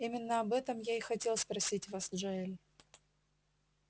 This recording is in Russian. именно об этом я и хотел спросить вас джаэль